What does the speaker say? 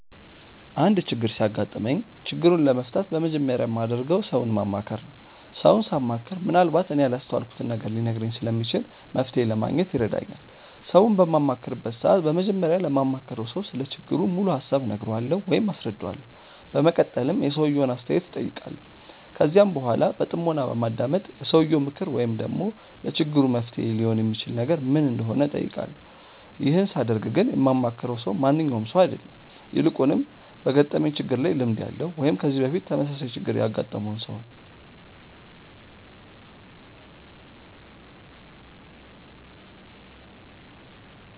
አንድ ችግር ሲያጋጥመኝ ችግሩን ለመፍታት በመጀመሪያ የማደርገው ሰውን ማማከር ነው። ሰውን ሳማክር ምንአልባት እኔ ያላስተዋልኩትን ነገር ሊነግረኝ ስለሚችል መፍተሔ ለማግኘት ይረዳኛል። ሰውን በማማክርበት ሰዓት በመጀመሪያ ለማማክረው ሰው ስለ ችግሩ ሙሉ ሀሳብ እነግረዋለሁ ወይም አስረዳዋለሁ። በመቀጠልም የሰውየውን አስተያየት እጠይቃለሁ። ከዚያም በኃላ በጥሞና በማዳመጥ የሰውየው ምክር ወይም ደግሞ ለችግሩ መፍትሔ ሊሆን የሚችል ነገር ምን እንደሆነ እጠይቃለሁ። ይህን ሳደርግ ግን የማማክረው ሰው ማንኛውም ሰው አይደለም። ይልቁንም በገጠመኝ ችግር ላይ ልምድ ያለው ወይም ከዚህ በፊት ተመሳሳይ ችግር ያገጠመውን ሰው ነው።